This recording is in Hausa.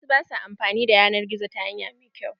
Wasu ba sua amfani da yanar gizo ta hanya mai kyau.